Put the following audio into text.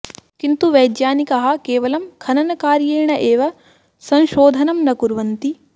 किन्तु वैज्ञानिकाः केवलं खननकार्येण एव संशोधनं न कुर्वन्ति